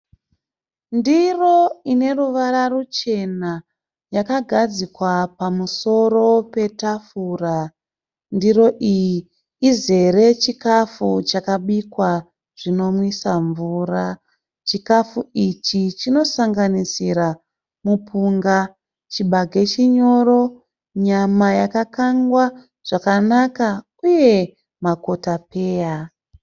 Ndiro ine ruvara ruchena yakagadzikwa pamusoro petafura. Ndiro iyi izere chikafu chakabikwa zvinonwisa mvura. Chikafu ichi chinosanganisira mupunga, chibage chinyoro, nyama yakakangwa zvakanaka uye makotapeya.